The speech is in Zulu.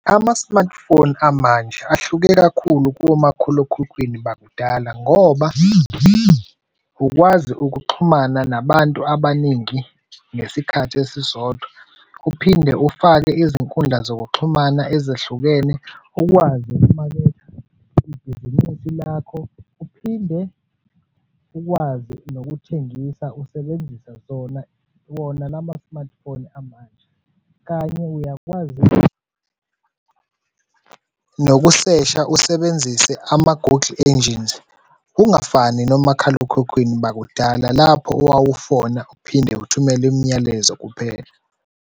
Ama-smartphone amanje ahluke kakhulu komakhalekhukhwini bakudala ngoba ukwazi ukuxhumana nabantu abaningi ngesikhathi esisodwa. Uphinde ufake izinkundla zokuxhumana ezahlukene, ukukwazi ukumaketha ibhizinisi lakho. Uphinde ukwazi nokuthengisa usebenzisa zona wona lama-smartphone amanje kanye uyakwazi nokusesha usebenzise ama-Google Engines. Ungafani nomakhalekhukhwini bakudala, lapho owawufona uphinde uthumela imiyalezo kuphela.